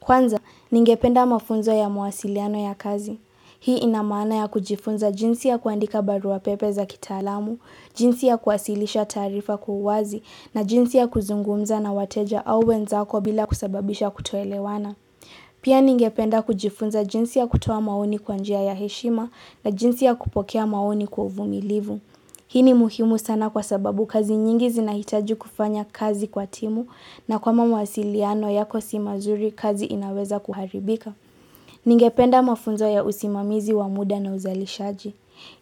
Kwanza, ningependa mafunzo ya mawasiliano ya kazi. Hii ina maana ya kujifunza jinsi ya kuandika barua pepe za kitaalamu, jinsi ya kuwasilisha taarifa kwa uwazi na jinsi ya kuzungumza na wateja au wenzako bila kusababisha kutoelewana. Pia ningependa kujifunza jinsi ya kutoa maoni kwa njia ya heshima na jinsi ya kupokea maoni kwa uvumilivu. Hii ni muhimu sana kwa sababu kazi nyingi zinahitaji kufanya kazi kwa timu na kama mawasiliano yako si mazuri kazi inaweza kuharibika. Ningependa mafunzo ya usimamizi wa muda na uzalishaji.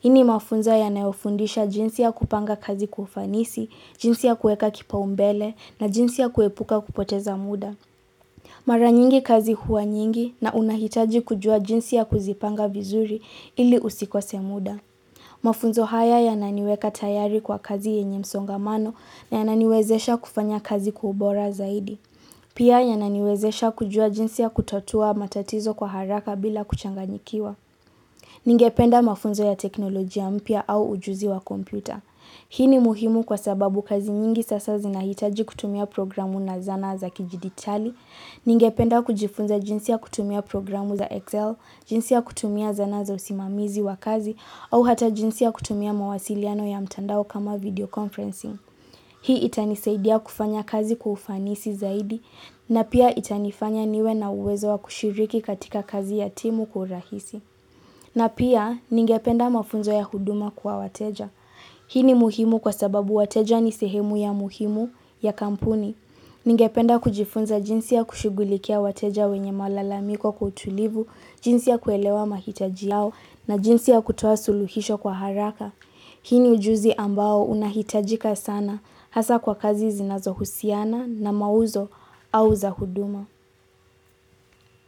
Hii ni mafunzo yanayofundisha jinsi ya kupanga kazi kwa ufanisi, jinsi ya kueka kipaumbele na jinsi ya kuepuka kupoteza muda. Mara nyingi kazi huwa nyingi na unahitaji kujua jinsi ya kuzipanga vizuri ili usikose muda. Mafunzo haya yananiweka tayari kwa kazi yenye msongamano na yananiwezesha kufanya kazi kwa ubora zaidi. Pia yananiwezesha kujua jinsi ya kutatua matatizo kwa haraka bila kuchanganyikiwa. Ningependa mafunzo ya teknolojia mpya au ujuzi wa kompyuta. Hii ni muhimu kwa sababu kazi nyingi sasa zinahitaji kutumia programu na zana za kidijitali. Ningependa kujifunza jinsi ya kutumia programu za Excel, jinsi ya kutumia zana za usimamizi wa kazi, au hata jinsi ya kutumia mawasiliano ya mtandao kama video conferencing. Hii itanisaidia kufanya kazi kwa ufanisi zaidi, na pia itanifanya niwe na uwezo wa kushiriki katika kazi ya timu kwa urahisi. Na pia, ningependa mafunzo ya huduma kwa wateja. Hii ni muhimu kwa sababu wateja ni sehemu ya muhimu ya kampuni. Ningependa kujifunza jinsi ya kushugulikia wateja wenye malalamiko kwa utulivu, jinsi ya kuelewa mahitaji yao na jinsi ya kutoa suluhisho kwa haraka. Hii ni ujuzi ambao unahitajika sana hasa kwa kazi zinazohusiana na mauzo au za huduma.